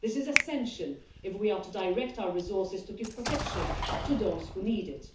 This is essential if we are to direct our resources to give protection to those who need it.